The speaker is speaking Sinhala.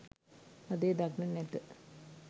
අද එය දක්නට නැත